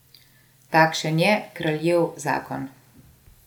Takšen je kraljev zakon.